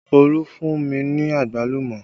Olú fún mi ní àgbálùmọ́